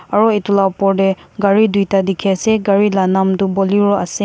Aro etu la upor tey gare tuita dekhe ase.